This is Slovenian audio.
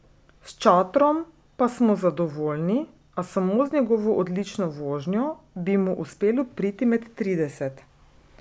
S Čatrom pa smo zadovoljni, a samo z njegovo odlično vožnjo bi mu uspelo priti med trideset.